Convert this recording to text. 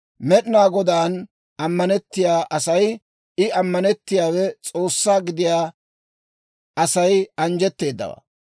«Med'inaa Godaan ammanettiyaa asay, I ammanettiyaawe S'oossaa gidiyaa Asay anjjetteedawaa.